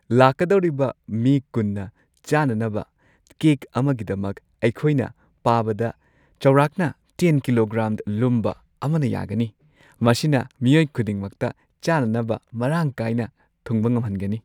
ꯂꯥꯛꯀꯗꯧꯔꯤꯕ ꯃꯤ ꯲꯰ꯅ ꯆꯥꯅꯅꯕ ꯀꯦꯛ ꯑꯃꯒꯤꯗꯃꯛ, ꯑꯩꯈꯣꯏꯅ ꯄꯥꯕꯗ ꯆꯥꯎꯔꯥꯛꯅ X ꯀꯤꯂꯣꯒ꯭ꯔꯥꯝ ꯂꯨꯝꯕ ꯑꯃꯅ ꯌꯥꯒꯅꯤ ꯫ ꯃꯁꯤꯅ ꯃꯤꯑꯣꯏ ꯈꯨꯗꯤꯡꯃꯛꯇ ꯆꯥꯅꯕ ꯃꯔꯥꯡ ꯀꯥꯏꯅ ꯊꯨꯡꯕ ꯉꯝꯍꯟꯒꯅꯤ ꯫